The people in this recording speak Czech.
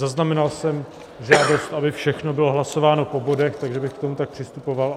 Zaznamenal jsem žádost, aby všechno bylo hlasováno po bodech, takže bych k tomu tak přistupoval.